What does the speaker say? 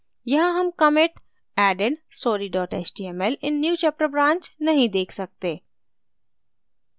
यहाँ हम commit added story html in newchapter branch नहीं देख सकते